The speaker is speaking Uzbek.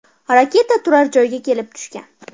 Raketa turar joyga kelib tushgan.